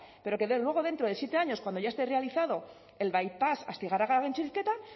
pero que luego dentro de siete años cuando ya está realizado el baipás astigarraga gaintxurrizketa